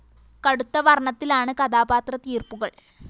കടുത്ത വര്‍ണത്തിലാണ് കഥാപാത്ര തീര്‍പ്പുകള്‍